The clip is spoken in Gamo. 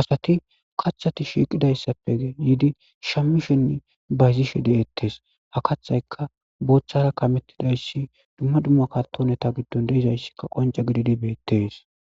asati kaththati shiiqidayssappe yiidi shamishenn bayzishe de'ettes, ha kathayka booththara kamettidayssi dumma dumma katoneta giddon deizayssikka qonca gididi beettes.